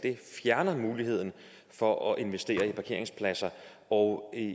fjerner muligheden for at investere i parkeringspladser og